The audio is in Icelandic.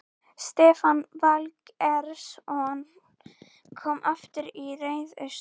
Stefán Valgeirsson kom aftur í ræðustól.